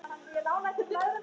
Hún er kannski ekki beint.